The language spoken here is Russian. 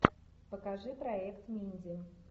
покажи проект минди